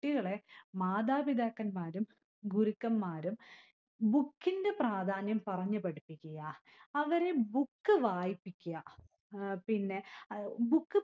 കുട്ടികളെ മാതാപിതാക്കന്മാരും ഗുരുക്കന്മാരും book ഇന്റെ പ്രാധാന്യം പറഞ്ഞു പഠിപ്പിക്കുക. അവരെ book വായിപ്പിക്യ. ഏർ പിന്നെ അഹ് book